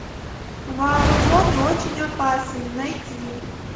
вооружен и очень опасен найти